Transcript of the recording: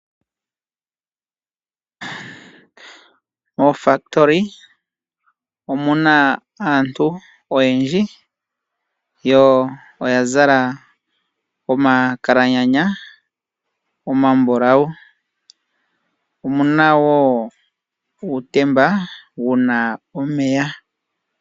Oofakitoli omuna aantu oyendji, yo oya zala omakalanyanya omambulawu, omuna wo uutemba wuna omeya.